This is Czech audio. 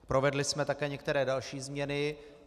Provedli jsme také některé další změny.